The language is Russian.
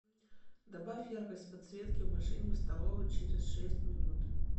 добавь яркость подсветки в машине в столовой через шесть минут